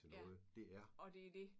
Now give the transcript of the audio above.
Ja og det er det!